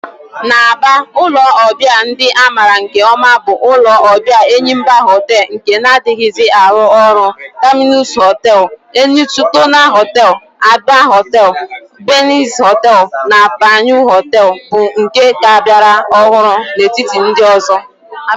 N'Aba, ulo obia ndi a mara nke oma bu ulo obia Enyimba Hotel nke na-adighizi aru oru, Terminus Hotel, Enitona Hotel, Abia Hotel, Binez Hotel, na Panyu Hotel bu nke ka biara ohuru n'etiti ndi ozo.